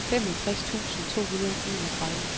femogtres tusind to hundrede og enogtredive